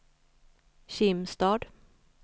Kimstad